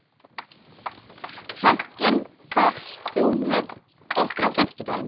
Franklin, ferð þú með okkur á fimmtudaginn?